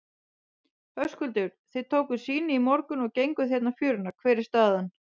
Höskuldur: Þið tókuð sýni í morgun og genguð hérna fjöruna, hver er staðan?